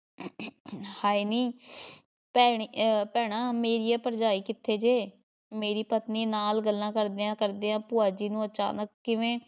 ਹਾਏ ਨੀ ਭੈਣੇ ਅਹ ਭੈਣਾਂ ਮੇਰੀਏ ਭਰਜਾਈ ਕਿੱਥੇ ਜੇ? ਮੇਰੀ ਪਤਨੀ ਨਾਲ਼ ਗੱਲਾਂ ਕਰਦਿਆਂ ਕਰਦਿਆਂ ਭੂਆ ਜੀ ਨੂੰ ਅਚਾਨਕ ਕਿਵੇਂ